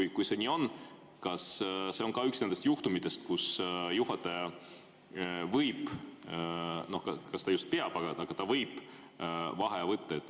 Ja kui see nii on, kas see on ka üks nendest juhtumitest, kus juhataja võib – kas ta just peab, aga ta võib vaheaja võtta?